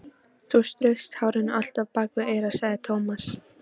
Þú straukst hárinu alltaf bak við eyrað, sagði Tómas.